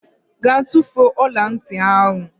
Gaa tufuo ọla ntị ahụ!